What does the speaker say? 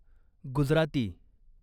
Gujarati